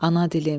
ana dilim.